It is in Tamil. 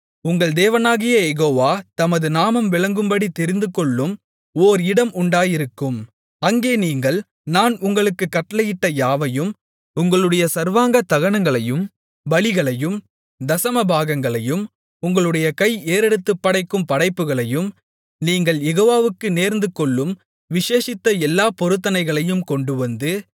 உங்கள் தேவனாகிய யெகோவா தமது நாமம் விளங்கும்படி தெரிந்துகொள்ளும் ஓர் இடம் உண்டாயிருக்கும் அங்கே நீங்கள் நான் உங்களுக்குக் கட்டளையிட்ட யாவையும் உங்களுடைய சர்வாங்க தகனங்களையும் பலிகளையும் தசமபாகங்களையும் உங்களுடைய கை ஏறெடுத்துப்படைக்கும் படைப்புகளையும் நீங்கள் யெகோவாவுக்கு நேர்ந்துகொள்ளும் விசேஷித்த எல்லாப் பொருத்தனைகளையும் கொண்டுவந்து